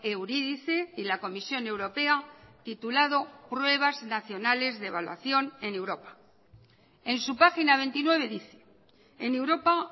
eurydice y la comisión europea titulado pruebas nacionales de evaluación en europa en su página veintinueve dice en europa